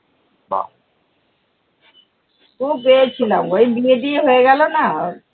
খুব এ ছিলাম গো, এই বিয়ে টিয়ে হয়ে গেলো না ওর